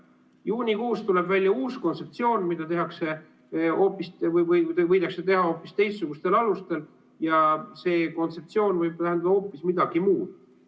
Juunikuus tuleb välja uus kontseptsioon, mida tehakse või võidakse teha hoopis teistsugustel alustel, ja see kontseptsioon võib tähendada hoopis midagi muud.